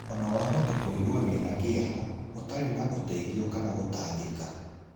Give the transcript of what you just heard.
Ona wahota kũigua wĩna kieha, ũtarĩ na ũteithio kana gũtangĩka.